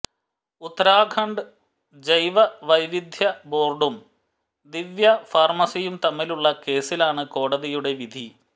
ഉത്തരാഖണ്ഡ് ജൈവ വൈവിധ്യ ബോര്ഡും ദിവ്യ ഫാര്മസിയും തമ്മിലുള്ള കേസിലാണ് കോടതിയുടെ വിധി